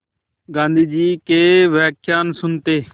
गाँधी जी के व्याख्यान सुनते